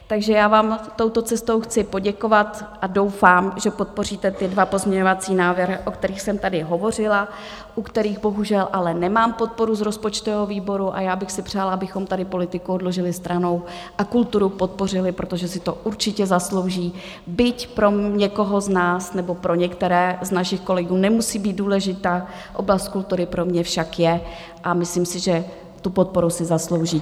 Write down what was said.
Takže já vám touto cestou chci poděkovat a doufám, že podpoříte ty dva pozměňovací návrhy, o kterých jsem tady hovořila, u kterých bohužel ale nemám podporu z rozpočtového výboru, a já bych si přála, abychom tady politiku odložili stranou a kulturu podpořili, protože si to určitě zaslouží, byť pro někoho z nás, nebo pro některé z našich kolegů, nemusí být důležitá, oblast kultury pro mě však je, a myslím si, že tu podporu si zaslouží.